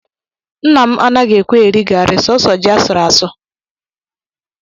Nna m anaghị ekwe eri garị, sọọsọ ji a sụrụ asụ